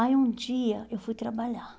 Aí um dia eu fui trabalhar.